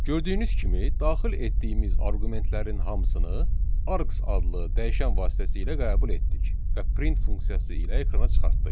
Gördüyünüz kimi daxil etdiyimiz arqumentlərin hamısını arks adlı dəyişən vasitəsilə qəbul etdik və print funksiyası ilə ekrana çıxartdıq.